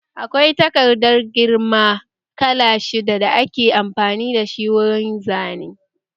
Akwai takarda girma kala shidda da ake amfani da shi wurin yin Zane